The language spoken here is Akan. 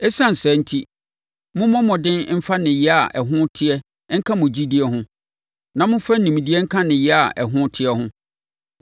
Esiane saa enti, mommɔ mmɔden mfa nneyɛeɛ a ɛho teɛ nka mo gyidie ho; na momfa nimdeɛ nka nneyɛeɛ a ɛho teɛ ho;